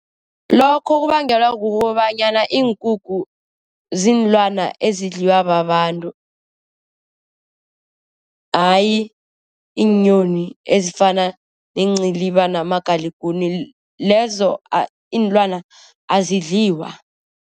Lokho kubangelwa kukobanyana iinkukhu ziinlwana ezidliwa babantu. Ayi iinyoni ezifana neenciliba namagaligunini. Lezo iinlwana azidliwa.